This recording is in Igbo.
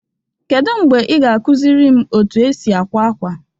Kedu mgbe ị ga-akụziri m otú e si akwa akwa?